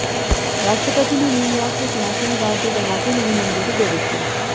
ਰਾਸ਼ਟਰਪਤੀ ਨੇ ਨਿਊਯਾਰਕ ਵਿਚ ਨੈਸ਼ਨਲ ਗਾਰਡ ਦੀ ਤੈਨਾਤੀ ਨੂੰ ਵੀ ਮਨਜ਼ੂਰੀ ਦੇ ਦਿੱਤੀ